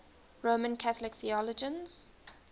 roman catholic theologians